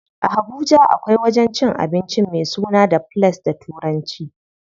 A Habuja akwai wajen cin abincin me sunan The place da turanci.